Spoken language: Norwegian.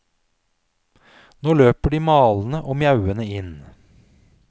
Nå løper de malende og mjauende inn.